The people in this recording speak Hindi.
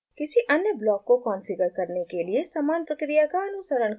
किसी अन्य ब्लॉक को कॉन्फ़िगर करने के लिए समान प्रक्रिया का अनुसरण करें